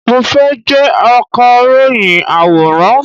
Mo fẹ́ jẹ́ Akàròyìn àwòrán.